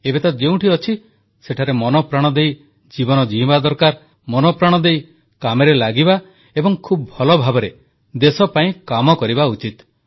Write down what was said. ଏବେ ତ ଯେଉଁଠି ଅଛି ସେଠାରେ ମନପ୍ରାଣ ଦେଇ ଜୀବନ ଜୀଇଁବା ଦରକାର ମନପ୍ରାଣ ଦେଇ କାମରେ ଲାଗିବା ଏବଂ ଖୁବ୍ ଭଲଭାବରେ ଦେଶପାଇଁ କାମ କରିବା ଉଚିତ